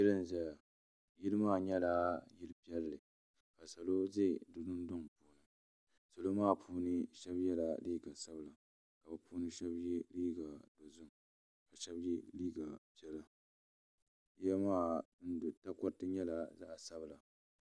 yili n ʒɛya yili maa nyɛla yili piɛli ka salo ʒɛ di dondoni salo maa puuni shɛbi yɛla liga sabila ka be puuni shɛbi yɛ liga ʒiɛhi ka shɛbi yɛ liga piɛla yiya maa takoritɛ nyɛla zaɣ sabila